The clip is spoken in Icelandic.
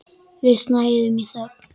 Við snæðum í þögn.